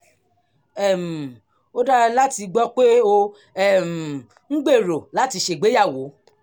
um ó dára láti gbọ́ pé ò um ń gbèrò láti ṣègbéyàwó